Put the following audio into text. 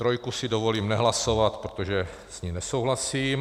Trojku si dovolím nehlasovat, protože s ní nesouhlasím.